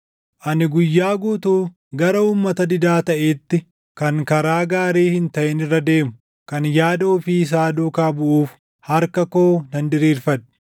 Ani guyyaa guutuu gara uummata didaa taʼeetti, kan karaa gaarii hin taʼin irra deemu, kan yaada ofii isaa duukaa buʼuuf harka koo nan diriirfadhe;